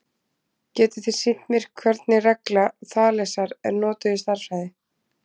Getiði sýnt mér hvernig regla Þalesar er notuð í stærðfræði?